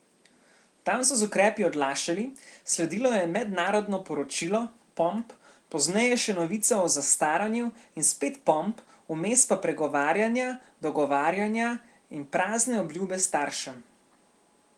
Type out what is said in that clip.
Tam so z ukrepi odlašali, sledilo je mednarodno poročilo, pomp, pozneje še novica o zastaranju in spet pomp, vmes pa pregovarjanja, dogovarjanja in prazne obljube staršem.